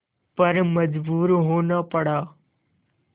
पर मजबूर होना पड़ा